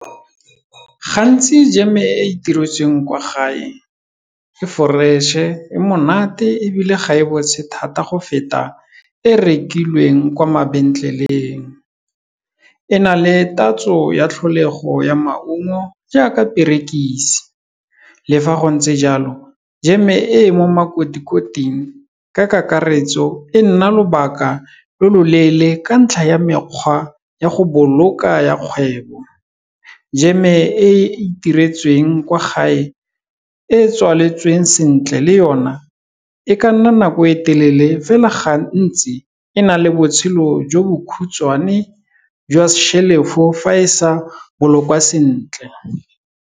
Gantsi jam-e e e itiretsweng kwa gae, e fresh-e, e monate ebile ga e bontshe thata, go feta e rekilweng kwa mabentleleng. E na le tatso ya tlholego ya maungo, jaaka perekise le fa go ntse jalo, jeme e mo makoti-koting ka kakaretso, e nna lobaka lo loleele ka ntlha ya mekgwa ya go boloka ya kgwebo. Jam-e e itiretsweng kwa gae, e tswaletswe sentle le yone, e ka nna nako e telele fela ga ntsi e na le botshelo jo bo khutshwane jwa shelf-o fa e sa bolokwa sentle.